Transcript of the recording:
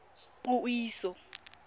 puiso